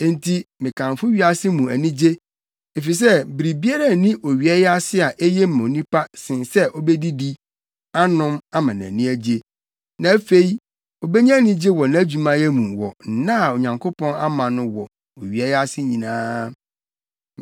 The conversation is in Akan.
Enti mekamfo wiase mu anigye, efisɛ biribiara nni owia yi ase a eye ma onipa sen sɛ obedidi, anom ama nʼani agye. Na afei obenya anigye wɔ nʼadwumayɛ mu wɔ nna a Onyankopɔn ama no wɔ owia yi ase nyinaa.